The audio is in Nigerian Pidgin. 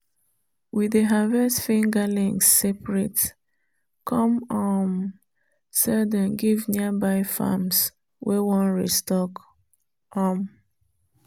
we dey harvest fingerlings separate come um sell them give nearby farms wey wan restock. um